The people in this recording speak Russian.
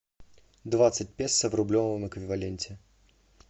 двадцать песо в рублевом эквиваленте